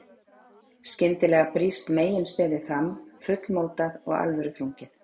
Skyndilega brýst meginstefið fram, fullmótað og alvöruþrungið.